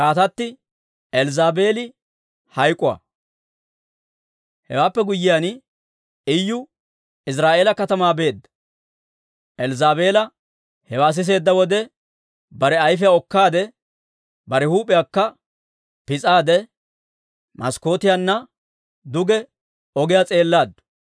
Hewaappe guyyiyaan, Iyu Iziraa'eela katamaa beedda. Elzzaabeela hewaa siseedda wode, bare ayfiyaa okkaadde, bare huup'iyaakka pis'aade, maskkootiyaanna duge ogiyaa s'eellaaddu.